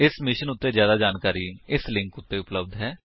ਇਸ ਮਿਸ਼ਨ ਉੱਤੇ ਜਿਆਦਾ ਜਾਣਕਾਰੀ ਇਸ ਲਿੰਕ ਉੱਤੇ ਉਪਲੱਬਧ ਹੈ